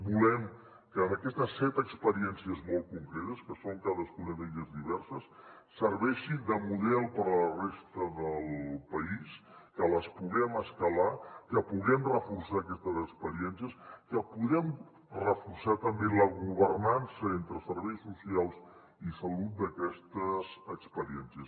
volem que aquestes set experiències molt concretes que són cadascuna d’elles diverses serveixin de model per a la resta del país que les puguem escalar que puguem reforçar aquestes experiències que puguem reforçar també la governança entre serveis socials i salut d’aquestes experiències